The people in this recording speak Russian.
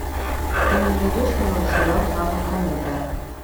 ты мне найдешь милый сериал жанр комедия